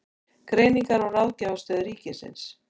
Greiningar- og ráðgjafarstöð ríkisins.